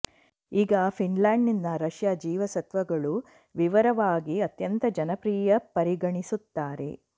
ಈಗ ಫಿನ್ಲಾಂಡ್ ನಿಂದ ರಷ್ಯಾ ಜೀವಸತ್ವಗಳು ವಿವರವಾಗಿ ಅತ್ಯಂತ ಜನಪ್ರಿಯ ಪರಿಗಣಿಸುತ್ತಾರೆ